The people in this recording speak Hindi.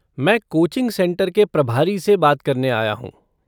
मैं कोचिंग सेंटर के प्रभारी से बात करने आया हूँ।